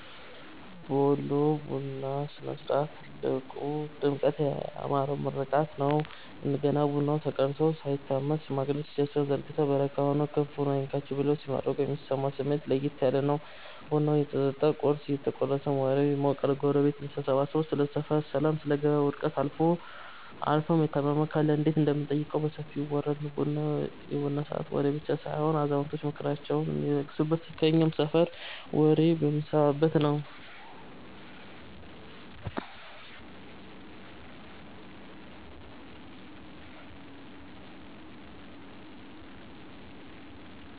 በወሎ የቡና ሥነ-ሥርዓት ላይ ትልቁ ድምቀት ያ ያማረው ምርቃት ነው። ገና ቡናው ተቀድቶ ሳይታመስ፣ ሽማግሌዎች እጃቸውን ዘርግተው "በረካ ሁኑ፤ ክፉ አይንካችሁ" ብለው ሲመርቁ የሚሰማው ስሜት ለየት ያለ ነው። ቡናው እየጠጣ ቁርስ እየተቆረሰም ወሬው ይሞቃል። ጎረቤት ተሰብስቦ ስለ ሰፈር ሰላም፣ ስለ ገበያ ውድነት አልፎም የታመመ ካለ እንዴት እንደምንጠይቀው በሰፊው ይወራል። የቡና ሰዓት ወሬ ብቻ ሳይሆን አዛውንቶች ምክራቸውን የሚለግሱበት፤ እኛም የሰፈር ወሬ የምንሰማበት ነዉ።